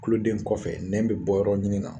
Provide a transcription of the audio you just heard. Kuloden kɔfɛ nɛn bɛ bɔ yɔrɔ ɲini na.